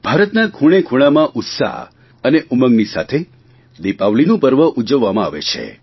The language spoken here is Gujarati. ભારતના ખૂણેખૂણામાં ઉત્સાહ અને ઉમંગની સાથે દિપાવલીનું પર્વ ઉજવવામાં આવે છે